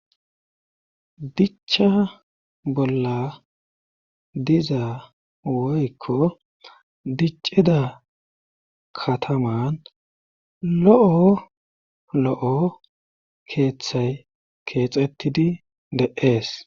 Dicha bolla diza woykko diccida kataman lo7o lo7o keeththay keexettidi de7ees